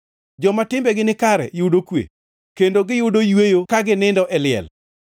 Joma timbegi ni kare yudo kwe; kendo giyudo yweyo ka ginindo e liel.